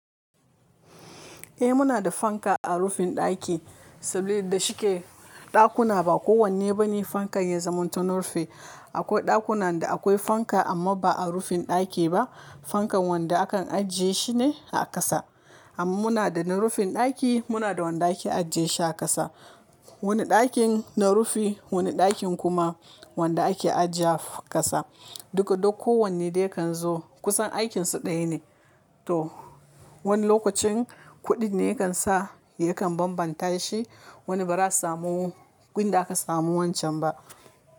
Eh muna da fanka a rufin ɗaki saboda da shike ɗakuna ba kowanne bane fankan ya zamanto nurfi. Akwai ɗakunan da akwai fanka amma ba a rufin ɗaki ba. Fankan wanda akan ajiye shine a ƙasa. Amma muna da na rufin ɗaki muna da wanda ake ajiye shi a ƙasa. Wani ɗakin na rufi wani ɗakin kuma wanda ake aji yewa ƙasa. Duka duk kowanne dai kan zo kusan aikin su ɗaya ne. To wani lokacin kuɗin ne ya kan sa ya kan bambanta shi. Wani ba za a samu gun da aka samu wancan ba.